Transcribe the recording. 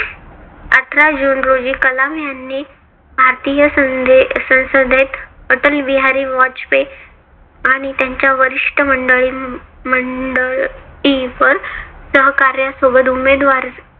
आठरा जून रोजी कलाम यांनी भारतीय संदे संसदेत अटल बिहारी वाजपेयी आणि त्यांच्या वरिष्ठ मंडळीन मंडळी व सहकाऱ्यासोबत उमेदवारी